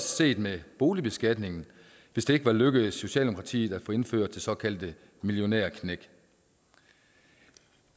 set med boligbeskatningen hvis det ikke var lykkedes socialdemokratiet at få indført det såkaldte millionærknæk